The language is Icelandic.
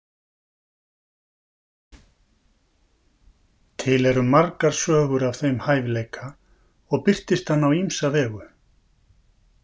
Til eru margar sögur af þeim hæfileika og birtist hann á ýmsa vegu.